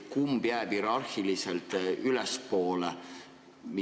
Kumb jääb hierarhiliselt ülespoole?